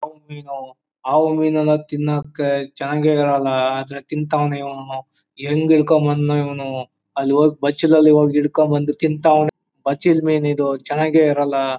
ಹಾವು ಮೀನು ಹಾವು ಮೀನನ್ನು ತಿನ್ನೋಕೆ ಚೆನ್ನಾಗೇ ಇರಲ್ಲ ಆದ್ರೆ ತಿಂತಾವ್ನೆ ಇವನು ಹೆಂಗೆ ಹಿಡ್ಕೋ ಬಂದ್ನೋ ಇವನು ಅಲ್ಲಿ ಹೋಗಿ ಬಚ್ಚಲಲ್ಲಿ ಹೋಗಿ ಹಿಡ್ಕೊ ಬಂದು ತಿನ್ನುತ್ತಾನೆ. ಬಚ್ಚಲ ಮೀನಿದು ಚೆನ್ನಾಗಿರಲ್ಲ.